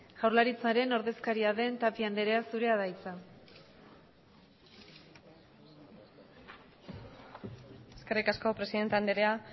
jaurlaritzaren ordezkaria den tapia anderea zurea da hitza eskerrik asko presidente anderea